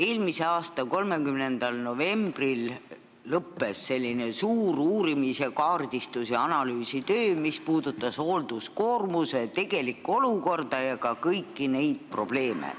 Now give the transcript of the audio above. Eelmise aasta 30. novembril lõppes suur uurimis-, kaardistus- ja analüüsitöö, mis puudutas hoolduskoormuse tegelikku olukorda ja ka kõiki neid probleeme.